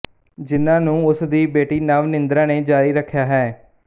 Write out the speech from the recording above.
ਜਿਨ੍ਹਾਂ ਨੂੰ ਉਸ ਦੀ ਬੇਟੀ ਨਵਨਿੰਦਰਾ ਨੇ ਜਾਰੀ ਰੱਖਿਆ ਹੈ